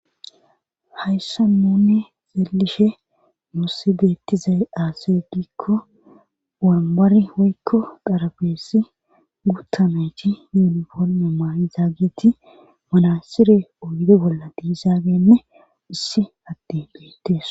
Hayssa nunne xeelishe nuussi deettizay aase gikko wambari hoykko darabeesi guttanayti yuuniforme maayzaagiti manasire oydo bolla diisaagenne issi atte beettes.